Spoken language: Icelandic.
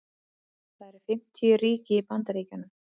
það eru fimmtíu ríki í bandaríkjunum